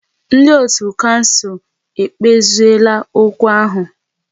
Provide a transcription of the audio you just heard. Ndị otu kouncil ekpeziela okwu ahu